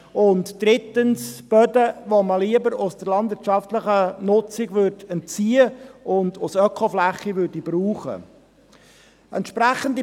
Die dritte Klassifizierung betrifft Böden, die man lieber der landwirtschaftlichen Nutzung entziehen und als Ökofläche brauchen würde.